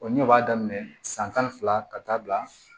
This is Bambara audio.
O ɲɛ o b'a daminɛ san tan fila ka taa bila